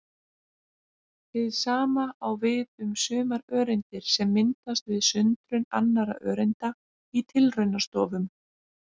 Hið sama á við um sumar öreindir sem myndast við sundrun annarra öreinda í tilraunastofum.